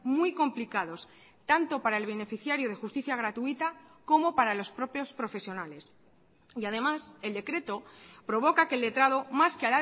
muy complicados tanto para el beneficiario de justicia gratuita como para los propios profesionales y además el decreto provoca que el letrado más que